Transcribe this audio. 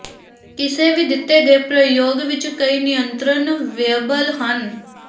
ਕਿਸੇ ਵੀ ਦਿੱਤੇ ਗਏ ਪ੍ਰਯੋਗ ਵਿੱਚ ਕਈ ਨਿਯੰਤਰਣ ਵੇਅਬਲ ਹਨ